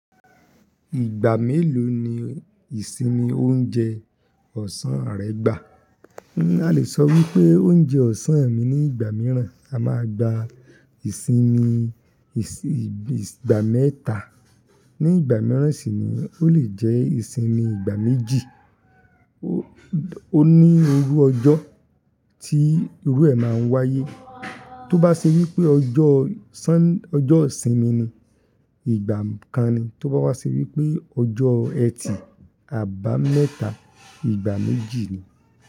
Ìgbà mélòó ni ìsinmi oúnjẹ ọ̀sán rẹ gbà? A lè sọ wípé oúnjẹ ọ̀sán mi ní ìgbà mìíràn. A máa gba ìsinmi ìs-- ìgbà mẹ́ta. Ní ìgbà mìíràn sì ni ó lè jẹ́ ìsinmi ìgbà méjì ó, ó ní irú ọjọ́ tí irú ẹ máa ń wáyé. Tó bá ṣe wípé ọjọ́ sán-- ọjọ́ ìsinmi ni, ìgbà kan ni. Tó bá wá ṣe wípé ọjọ́ ẹtì, àbámẹ́ta, ìgbà méjì ni.